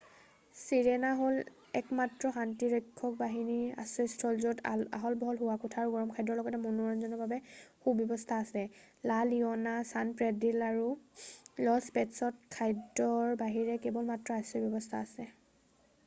Sirena হ'ল একমাত্ৰ শান্তিৰক্ষক বাহিনীৰ আশ্ৰয়স্থান য'ত আহল-বহল শোৱাকোঠা আৰু গৰম খাদ্যৰ লগতে মনোৰঞ্জনৰ বাবে সুব্যৱস্থা আছে। লা লিঅ'না ছান পেড্ৰিল' আৰু লজ পেট'ছত খাদ্যৰ বাহিৰে কেৱল মাত্ৰ আশ্ৰয়ৰ ব্যৱস্থা আছে।